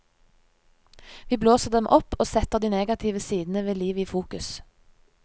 Vi blåser dem opp og setter de negative sidene ved livet i fokus.